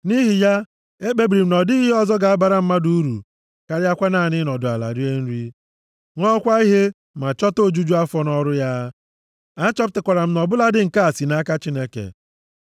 Nʼihi ya, ekpebiri m na ọ dịghị ihe ọzọ ga-abara mmadụ uru karịakwa naanị ịnọdụ ala rie nri, ṅụọkwa ihe ma chọta ojuju afọ nʼọrụ ya. Achọpụtakwara m na ọ bụladị nke a si nʼaka Chineke.